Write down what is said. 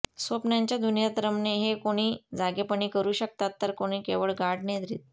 स्वप्नांच्या दुनियेत रमणे हे कोणी जागेपणी करू शकतात तर कोणी केवळ गाढ निद्रेत